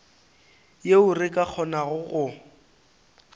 yeo re ka kgonago go